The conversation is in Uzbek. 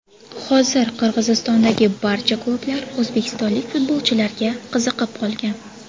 Hozir Qirg‘izistondagi barcha klublar o‘zbekistonlik futbolchilarga qiziqib qolgan.